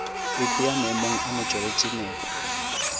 ipea maemong a motšweletši nepo